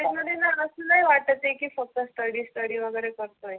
ते जाणार लय वाटत आहे की फक्त स्टडी स्टडी वगैरे. करतो आहे.